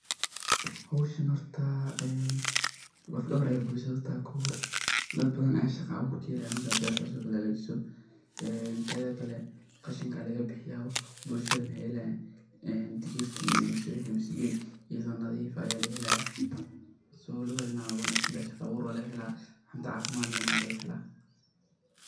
howshan horta, een lafdawar ayay bulshadha utaay , kow xor daad badan aya shaga awur kaxelaa marka bertas o kale xagajiso, tedhakale qashinka lakabixiya, bulshadha maxay xelayan een digirka iyo misigadhi idho nadif aya laxelaya so lawadha dinac way uwanagsantaxay, shagaa awur lagaxela, cunta cafimadh lex na walagaxela.